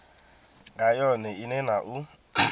nga yone ine na u